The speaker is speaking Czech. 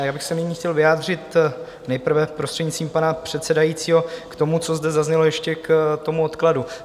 Já bych se nyní chtěl vyjádřit nejprve, prostřednictvím pana předsedajícího, k tomu, co zde zaznělo ještě k tomu odkladu.